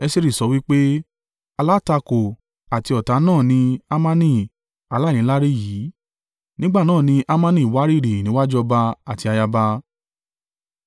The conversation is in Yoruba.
Esteri sọ wí pé, “Alátakò àti ọ̀tá náà ni Hamani aláìníláárí yìí.” Nígbà náà ni Hamani wárìrì níwájú ọba àti ayaba.